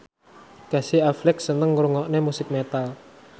Casey Affleck seneng ngrungokne musik metal